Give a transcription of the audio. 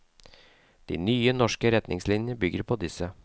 De nye, norske retningslinjene bygger på disse.